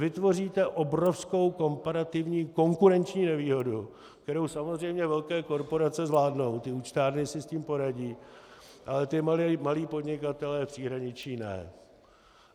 Vytvoříte obrovskou komparativní konkurenční nevýhodu, kterou samozřejmě velké korporace zvládnou, ty účtárny si s tím poradí, ale ti malí podnikatelé v příhraničí ne.